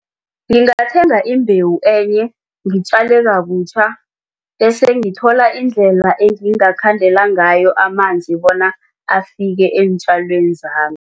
Ngingathenga imbewu enye ngitjale kabutjha bese ngithola indlela engingakhandela ngayo amanzi bona afike eentjalweni zami.